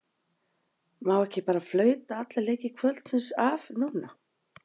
Má ekki bara flauta alla leiki kvöldsins af núna?